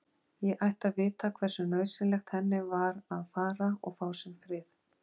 Ég ætti að vita hversu nauðsynlegt henni var að fara og fá sinn frið.